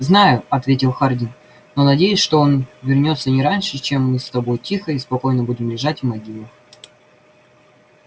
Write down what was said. знаю ответил хардин но надеюсь что он вернётся не раньше чем мы с тобой тихо и спокойно будем лежать в могилах